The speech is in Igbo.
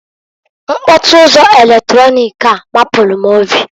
Mkpọtụ ụzọ eletronik a mapụrụ m obi.